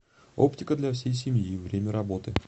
оптика для всей семьи время работы